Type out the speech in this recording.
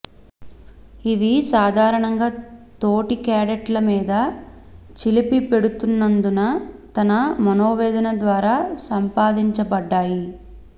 ఇవి సాధారణంగా తోటి క్యాడెట్ల మీద చిలిపిపెడుతున్నందుకు తన మనోవేదన ద్వారా సంపాదించబడ్డాయి